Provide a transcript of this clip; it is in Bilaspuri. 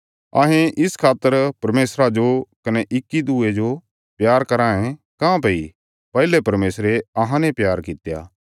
अहें इस खातर परमेशरा जो कने इक्की दूये जो प्यार कराँ ये काँह्भई पैहले परमेशरे अहांने प्यार कित्या